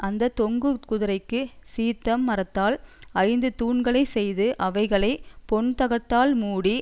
அந்த தொங்குதிரைக்குச் சீத்திம் மரத்தால் ஐந்து தூண்களைச் செய்து அவைகளை பொன்தகட்டால் மூடி